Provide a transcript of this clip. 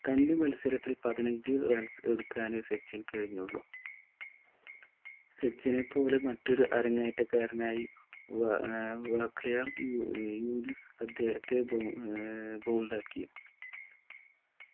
കഞ്ഞി മത്സരത്തിൽ പതിനഞ്ചു runs എടുക്കാനെ കഴിഞ്ഞുള്ളു സച്ചിന് സച്ചിനെ പോലെ മറ്റൊരു അരങ്ങേറ്റക്കാരനായി വ ഏർ വാകയാർ യു ഏർ യൂനുസ് അദ്ദേഹത്തെ ബഹു ഏർ bowled ആക്കി